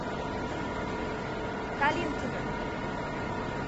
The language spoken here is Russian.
калинкина